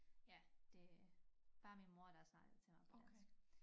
Ja det øh bare min mor der har snakket til mig på dansk